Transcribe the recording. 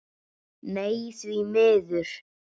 Nei því miður.